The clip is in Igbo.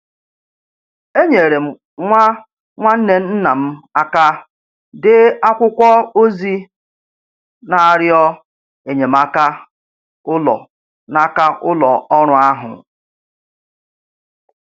Enyere m nwa nwanne nna m aka dee akwụkwọ ozi n'arịọ enyemaka ụlọ n'aka ụlọ ọrụ ahụ.